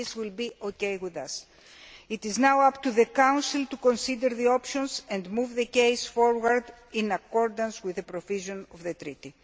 That will be okay with us. It is now up to the Council to consider the options and move the case forward in accordance with the provisions of the Treaty.